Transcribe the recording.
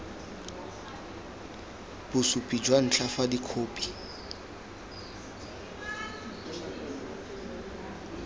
bosupi jwa ntlha fa dikhopi